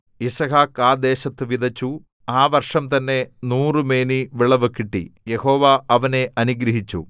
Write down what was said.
യിസ്ഹാക്ക് ആ ദേശത്തു വിതച്ചു ആ വർഷംതന്നെ നൂറുമേനി വിളവു കിട്ടി യഹോവ അവനെ അനുഗ്രഹിച്ചു